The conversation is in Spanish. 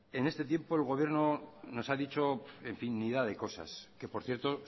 en este tiempo el gobierno nos ha dicho infinidad de cosas que por cierto